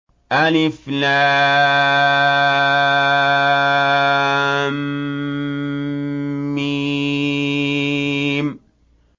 الم